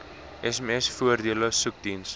sms voordele soekdiens